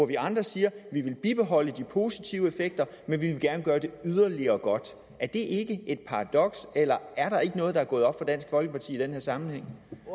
vi andre siger vi vil bibeholde de positive effekter men vi vil gerne gøre det yderligere godt er det ikke et paradoks eller er der ikke noget der er gået op for dansk folkeparti i den her sammenhæng